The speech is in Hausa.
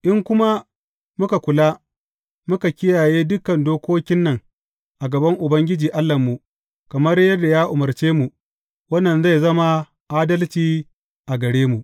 In kuma muka kula, muka kiyaye dukan dokokin nan a gaban Ubangiji Allahnmu, kamar yadda ya umarce mu, wannan zai zama adalci a gare mu.